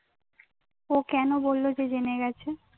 ও কেন বললো যে জেনে গেছে